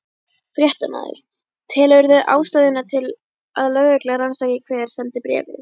Fréttamaður: Telurðu ástæðu til að lögregla rannsaki hver sendi bréfið?